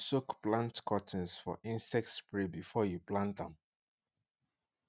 make you soak plant cuttings for insect spray before you plant am